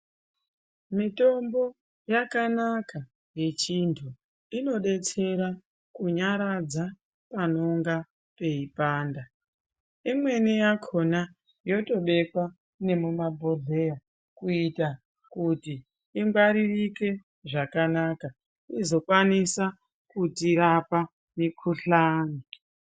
Mitombo yakanaka yechiantu. Inodetsera kunyaradza panenge peipanda. Imweni yakhona yotobekwa nemumabhodhleya kuita kuti ingwaririke zvakanaka izokwanisa kutirapa mikhuhlani.